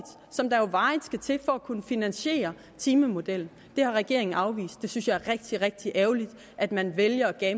som der jo varigt skal til for at kunne finansiere timemodellen det har regeringen afvist jeg synes det er rigtig rigtig ærgerligt at man vælger at